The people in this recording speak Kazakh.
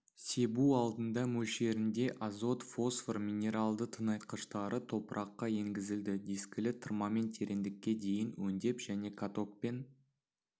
себу алдында мөлшерінде азот-фосфор минералды тыңайтқыштары топыраққа енгізілді дискілі тырмамен тереңдікке дейін өңдеп және катокпен